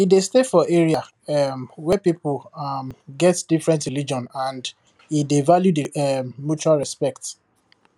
he dey stay for area um wey people um get different religion and he dey value the um mutual respect